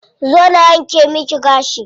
Zo na wanke miki gashi.